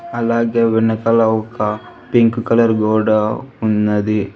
అలాగే వెనకాల ఒక పింక్ కలర్ గోడా ఉన్నది.